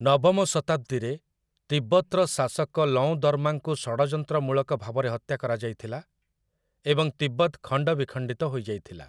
ନବମ ଶତାବ୍ଦୀରେ, ତିବ୍ବତର ଶାସକ ଲଓଁଦର୍ମାଙ୍କୁ ଷଡ଼ଯନ୍ତ୍ରମୂଳକ ଭାବରେ ହତ୍ୟା କରାଯାଇଥିଲା ଏବଂ ତିବ୍ବତ ଖଣ୍ଡ ବିଖଣ୍ଡିତ ହୋଇଯାଇଥିଲା ।